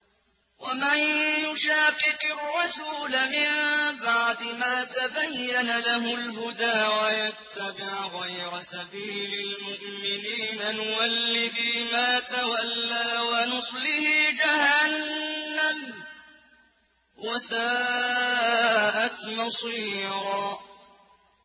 وَمَن يُشَاقِقِ الرَّسُولَ مِن بَعْدِ مَا تَبَيَّنَ لَهُ الْهُدَىٰ وَيَتَّبِعْ غَيْرَ سَبِيلِ الْمُؤْمِنِينَ نُوَلِّهِ مَا تَوَلَّىٰ وَنُصْلِهِ جَهَنَّمَ ۖ وَسَاءَتْ مَصِيرًا